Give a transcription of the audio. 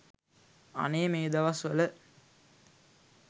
අනේ මේ දවස් වල